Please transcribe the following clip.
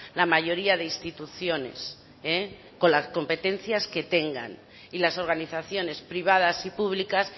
la mayoría de instituciones con las competencias que tengan y las organizaciones privadas y públicas